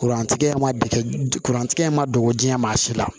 Kurantigɛ ma dege kurantigɛ in ma dɔgɔjan si la